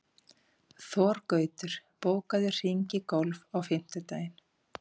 Þorgautur, bókaðu hring í golf á fimmtudaginn.